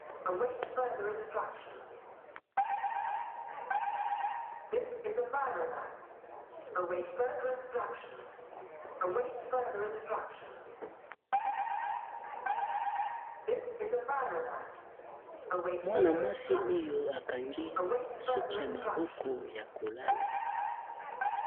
Mwana mwasi oyo a kangi suki ya maboko ya kol ala .